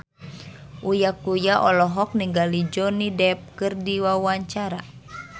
Uya Kuya olohok ningali Johnny Depp keur diwawancara